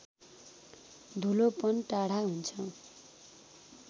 धुलोपन टाढा हुन्छ